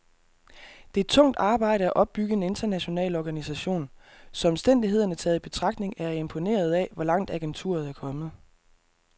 Det er tungt arbejde at opbygge en international organisation, så omstændighederne taget i betragtning er jeg imponeret af, hvor langt agenturet er kommet.